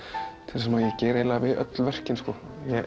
það sem ég geri við öll verkin sko